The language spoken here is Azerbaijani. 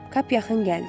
Kap yaxın gəldi.